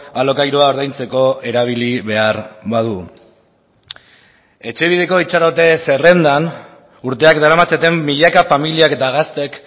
alokairua ordaintzeko erabili behar badu etxebideko itxarote zerrendan urteak daramatzaten milaka familiak eta gazteek